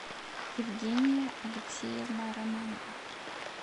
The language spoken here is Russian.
евгения алексеевна романова